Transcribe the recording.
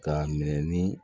K'a minɛ ni